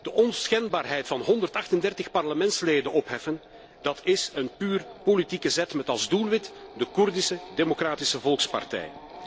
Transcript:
De onschendbaarheid van 138 parlementsleden opheffen is een puur politieke zet met als doelwit de Koerdische Democratische Volkspartij.